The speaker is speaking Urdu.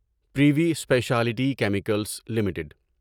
privy speciality chemicals limited